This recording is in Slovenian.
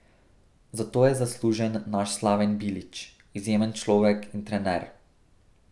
Za to je zaslužen naš Slaven Bilić, izjemen človek in trener.